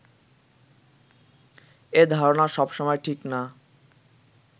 এ ধারণা সবসময় ঠিক না